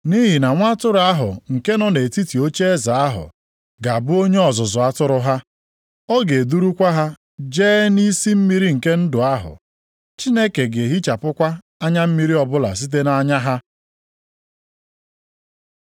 Nʼihi na Nwa Atụrụ ahụ nke nọ nʼetiti ocheeze ahụ ga-abụ onye ọzụzụ atụrụ ha; ‘ọ ga-edurukwa ha jee nʼisi mmiri nke ndụ ahụ.’ + 7:17 \+xt Aịz 49:10\+xt* ‘Chineke ga-ehichapụkwa anya mmiri ọbụla site nʼanya ha.’ + 7:17 \+xt Aịz 25:8\+xt*”